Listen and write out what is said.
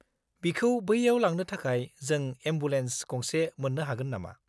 -बिखौ बैयाव लांनो थाखाय जों एमबुलेन्स गंसे मोन्नो हागोन नामा?